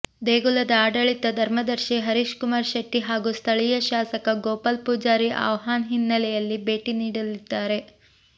ದೇಗುಲದ ಆಡಳಿತ ಧರ್ಮದರ್ಶಿ ಹರೀಶ್ ಕುಮಾರ್ ಶೆಟ್ಟಿ ಹಾಗೂ ಸ್ಥಳೀಯ ಶಾಸಕ ಗೋಪಾಲ್ ಪೂಜಾರಿ ಆಹ್ವಾನ್ ಹಿನ್ನಲೆಯಲ್ಲಿ ಭೇಟಿ ನೀಡಲಿದ್ದಾರೆ